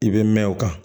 I bɛ mɛn o kan